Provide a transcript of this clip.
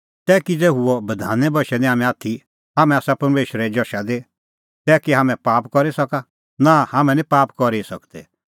तै किज़ै हुअ बधाने बशै निं हाम्हैं आथी हाम्हैं आसा परमेशरे जशा दी तै कै हाम्हैं पाप करी सका नां हाम्हैं निं पाप करी ई सकदै